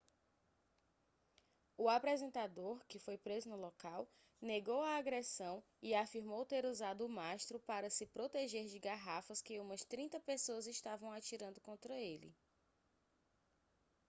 o apresentador que foi preso no local negou a agressão e afirmou ter usado o mastro para se proteger de garrafas que umas trinta pessoas estavam atirando contra ele